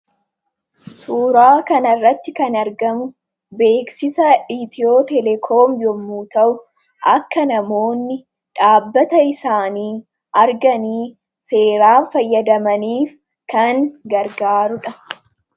Suuraa kana irratti kan argamu, beeksisa Itiyootelekoomii yemmuu ta'u, akka namoonni dhaabbata isaanii arganii seeraan fayyadaman kan gargaarudha.